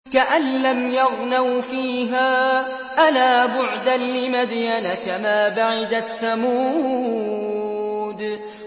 كَأَن لَّمْ يَغْنَوْا فِيهَا ۗ أَلَا بُعْدًا لِّمَدْيَنَ كَمَا بَعِدَتْ ثَمُودُ